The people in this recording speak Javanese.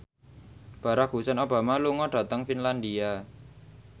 Barack Hussein Obama lunga dhateng Finlandia